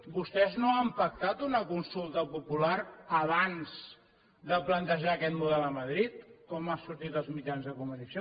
vostès no han pactat una consulta popular abans de plantejar aquest model a madrid com ha sortit als mitjans de comunicació